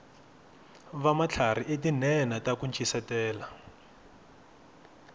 vamatlharhi i tinhenha taku ncisetela